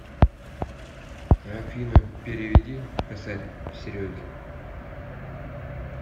афина переведи косарь сереге